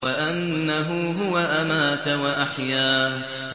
وَأَنَّهُ هُوَ أَمَاتَ وَأَحْيَا